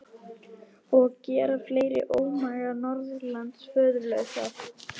Og gera fleiri ómaga norðanlands föðurlausa!